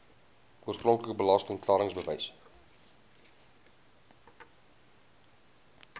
oorspronklike belasting klaringsbewys